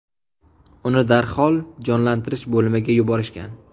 Uni darhol jonlantirish bo‘limiga yuborishgan.